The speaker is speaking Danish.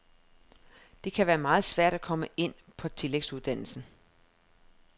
Det kan være meget svært at komme ind på tillægsuddannelsen.